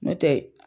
N'o tɛ